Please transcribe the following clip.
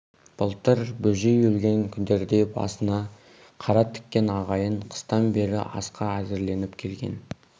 былтыр бөжей өлген күндерде басына қара тіккен ағайын қыстан бері асқа әзірленіп келген